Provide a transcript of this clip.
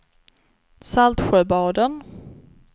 Saltsjöbaden